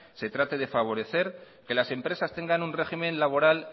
se trate de favorecer que las empresas tengan un régimen laboral